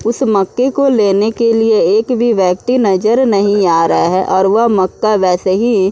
उस मक्के को लेने के लिए एक भी व्यक्ति नजर नहीं आ रहा है और वह मक्का वैसे ही --